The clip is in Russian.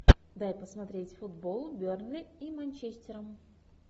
дай посмотреть футбол бернли и манчестером